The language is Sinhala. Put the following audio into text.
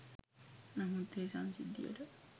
නමුත් ඒ සංසිද්ධියට